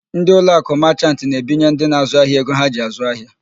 Ndị Uloakụ Machant na-ebinye ndị na-àzụ́ ahịa ego ha ji àzụ́ ahịa.